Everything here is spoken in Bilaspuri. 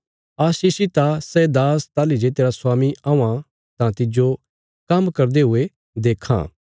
आशीषित आ सै दास ताहली जे तेरा स्वामी औआं तां तिज्जो काम्म करदे हुये देक्खां